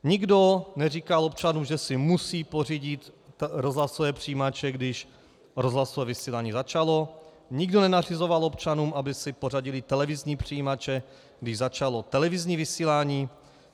Nikdo neříkal občanům, že si musí pořídit rozhlasové přijímače, když rozhlasové vysílání začalo, nikdo nenařizoval občanům, aby si pořídili televizní přijímače, když začalo televizní vysílání.